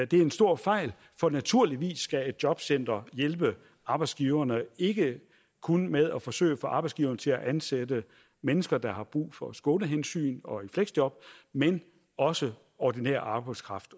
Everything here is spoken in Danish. det er en stor fejl for naturligvis skal et jobcenter hjælpe arbejdsgiverne ikke kun med at forsøge at få arbejdsgiverne til at ansætte mennesker der har brug for skånehensyn og fleksjob men også ordinær arbejdskraft